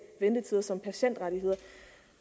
ventetider som patientrettigheder